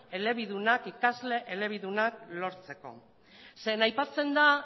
ikasle elebidunak lortzeko zeren aipatzen